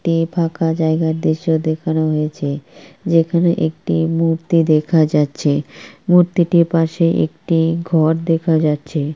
তে ফাঁকা জায়গার দৃশ্য দেখানো হয়েছে যেখানে একটি মূর্তি দেখা যাচ্ছে মূর্তিটির পাশে একটি ঘর দেখা যাচ্ছে ।